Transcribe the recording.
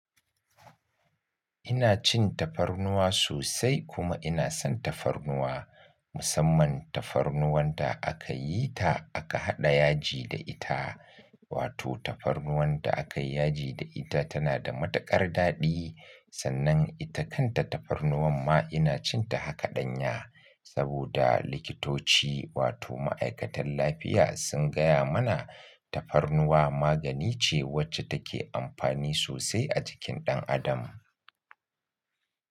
Ina cin tafarnuwa sosai kuma ina son tafarnuwa, musamman tafarnuwan da aka yi ta aka haɗa yaji da ita. Wato tafarnuwan da aka yi yaji da ita tana da matuƙar daɗi. Sannan ita kanta tafarnuwan ma ina cin ta haka ɗanya. Saboda likitoci wato ma'aikatan lafiya sun gaya mana tafarnuwa magani ce wacce take amfani sosai a jikin ɗan adam.